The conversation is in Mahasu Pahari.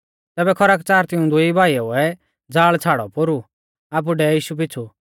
तैबै खरकच़ार तिऊं दुई भाईउऐ ज़ाल़ छ़ाड़ौ पोरु आपु डेवै यीशु पीछ़ु